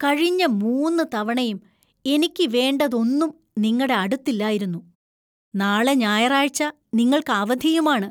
കഴിഞ്ഞ മൂന്ന് തവണയും എനിക്ക് വേണ്ടതൊന്നും നിങ്ങടെ അടുത്തില്ലായിരുന്നു ,നാളെ ഞായറാഴ്ച നിങ്ങൾക്ക് അവധിയുമാണ്‌.